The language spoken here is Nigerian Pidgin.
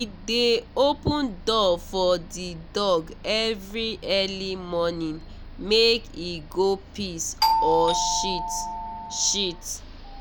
he dey open door for the dog every early morning make e go piss or shit. shit.